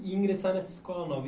E ingressar nessa escola nova.